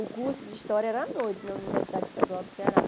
O curso de história era à noite na Universidade Estadual do Ceará.